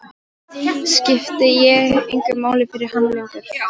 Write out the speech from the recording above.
Skipti ég engu máli fyrir hann lengur?